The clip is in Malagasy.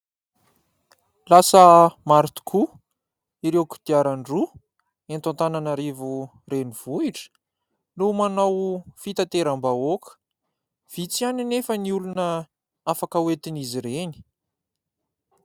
Lasa maro tokoa ireo kodiaran-droa eto Antananarivo renivohitra no manao fitateram-bahoaka. Vitsy ihany anefa ny olona afaka oentin'izy ireny.